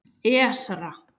Esra